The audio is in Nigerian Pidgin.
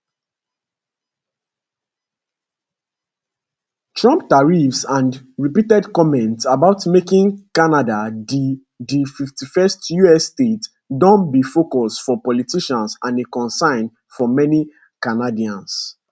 trump tariffs and repeated comments about making canada di di 51st us state don be focus for politicians and a concern for many canadians